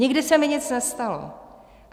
Nikdy se mi nic nestalo.